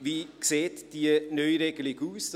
Wie sieht die Neuregelung aus?